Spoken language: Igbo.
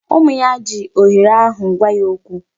Ụmụ ya jiri ohere ahụ gwa ya okwu.